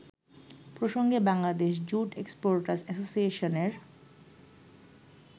প্রসঙ্গে Bangladesh jute exporters অ্যাসোসিয়েশনের